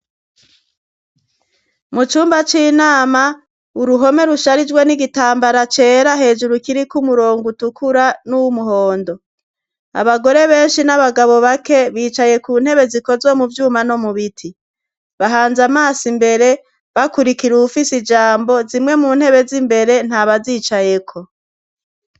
Mu cumba c'inama uruhome rusharijwe n'igitambara cera hejuru kiriko umurongo utukura nuwu muhondo abagore benshi n'abagabo bake bicaye ku ntebe zikozwe mu vyuma no mu biti bahanze amaso imbere bakurikira uwufise ijambo zimwe mu ntebe z'imbere nta bazicayeko.